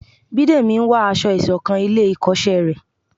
Bídèmí n wá aṣọ isokan ilé ikoṣẹ rẹ